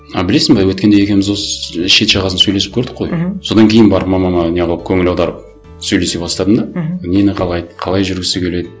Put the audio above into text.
а білесің бе өткенде екеуіміз осы шет жағасын сөйлесіп көрдік қой мхм содан кейін барып мамама не қылып көңіл аударып сөйлесе бастадым да мхм нені қалайды қалай жүргісі келеді